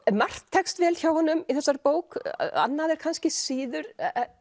margt tekst vel hjá honum í þessari bók annað kannski síður